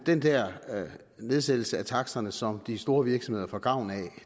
den der nedsættelse af taksterne som de store virksomheder får gavn af